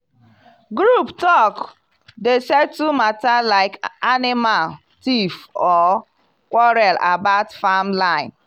group talk dey settle matter like anaimal thiefor quarrel about farm line.